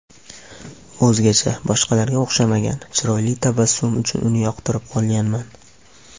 O‘zgacha, boshqalarga o‘xshamagan, chiroyli tabassumi uchun uni yoqtirib qolganman.